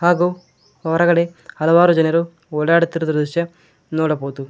ಹಾಗು ಹೊರಗಡೆ ಹಲವಾರು ಜನರು ಓಡಾಡುತ್ತೀರಾ ದೃಶ್ಯ ನೋಡಬಹುದು.